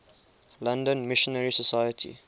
london missionary society